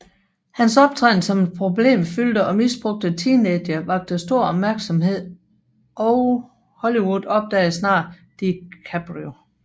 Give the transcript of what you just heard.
Hans optræden som den problemfyldte og misbrugte teenager vakte stor opmærksomhed og Hollywood opdagede snart DiCaprio